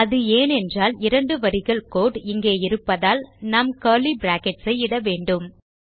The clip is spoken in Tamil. அது ஏனென்றால் இரண்டு வரிகள் கோடு இங்கே இருப்பதால் நாம் கர்லி பிராக்கெட்ஸ் ஐ இட வேண்டும்